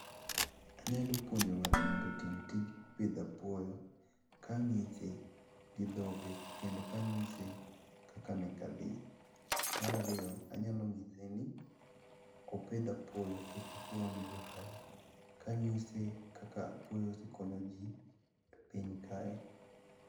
Anyalo puonjo ng'ato mondo otim tij pidho apuoyo kang'ise gi dhoge kendo kang'ise kaka meka dhi. Mar ariyo, anyalo nyise ni opidh apuoyo nikech apuoyo nigi ohala, kang'ise kaka apuoyo osekonyo ji e piny kae.